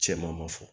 Cɛman ma fɔ